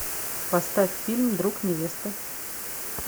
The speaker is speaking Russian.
поставь фильм друг невесты